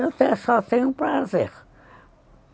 Eu só tenho prazer.